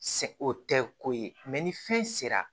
Se o tɛ ko ye ni fɛn sera